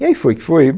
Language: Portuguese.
E aí foi o que foi.